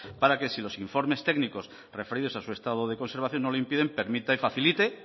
para que si los informes técnicos referidos a su estado de conservación no lo impiden permita y facilite